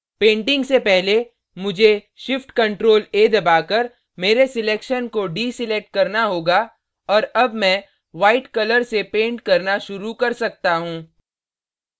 painting से पहले मुझे shift + ctrl + a दबाकर मेरे selection को deselect करना होगा और अब मैं white कलर से पेंट करना शुरू कर सकता हूँ